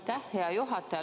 Aitäh, hea juhataja!